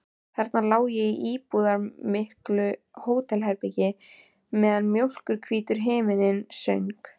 Þarna lá ég í íburðarmiklu hótelherbergi meðan mjólkurhvítur himinninn söng.